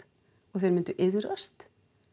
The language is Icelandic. og þeir mynd iðrast